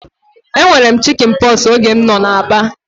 E nwere m chikin pọksi oge m nọ na Aba